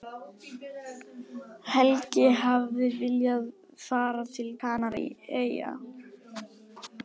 Helgi hafði viljað fara til Kanaríeyja.